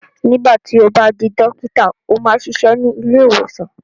nígbà tí o bá di dókítà, ó máa ṣiṣẹ́ ní ilé-ìwòsàn.